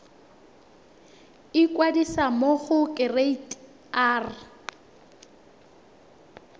ikwadisa mo go kereite r